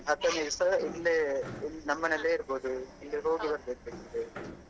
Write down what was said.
ಹ್ಮ್ ಹತ್ತು ದಿವ್ಸ ಇಲ್ಲೇ ನಮ್ಮನೇಲೇ ಇರ್ಬೋದು ಇಲ್ಲಿ ಹೋಗಿ ಬರ್ಬೇಕಾಗತ್ತೆ.